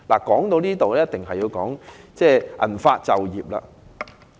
說到這裏，不得不提銀髮就業的問題。